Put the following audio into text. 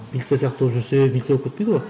милиция сияқты болып жүрсе милиция болып кетпейді ғой